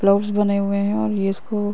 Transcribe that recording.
clubs बने हुए हैं और ये इसको --